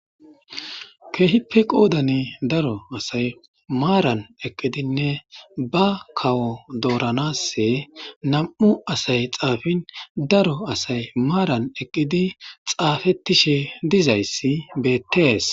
keehippe qoodani daro asay maaran eqqidinne ba kawo dooranasse nam7u asay xaafin daro asay maaran eqqidi xaafetishe dizayssi beettees